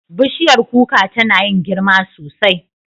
Bishiyar kuka tana yin girma sosai.